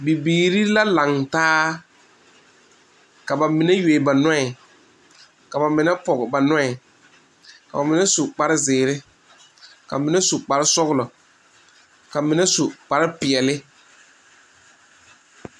Bibiiri la kaŋ taa ka ba mine yuo ba noɛ ka ba mine poge na noɛ ka ba mine su kpare ziiri, ka mine su kpare sɔglɔ ka mine su kpare peɛle.